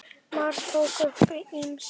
Már tók upp á ýmsu.